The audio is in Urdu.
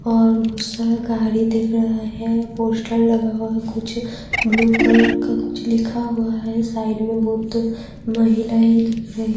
اور اس طرف گاڑی دکھ رہا ہے پوسٹر لگا ہوا کچھ بلو کلر کا کچھ لکھا ہوا ہے سائیڈ میں مہلائے دکھ رہی ہیں-